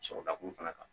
Sɔrɔ dakun fana kan